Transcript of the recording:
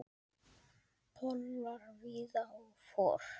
Pollar víða og for.